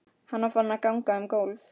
Hann var farinn að ganga um gólf.